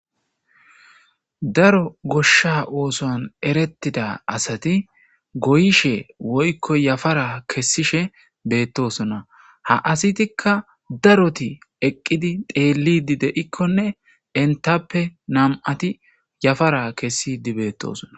Daro gooshsha oosuwan eeretida asati gooyishe woykko yaafara kesishe beetosonna ha asattikka eeqiddi xeeliddi de'ikkonne enttappe nam'iattikka yaafara kesiddii bettossonna